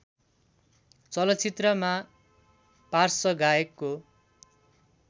चलचित्रमा पार्श्व गायकको